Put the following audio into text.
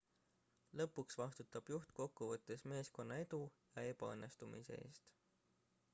lõpuks vastutab juht kokkuvõttes meeskonna edu ja ebaõnnestumise eest